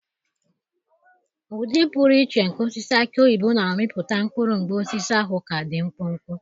Ụdị pụrụ iche nke osisi aki oyibo na-amịpụta mkpụrụ mgbe osisi ahụ ka dị mkpụmkpụ.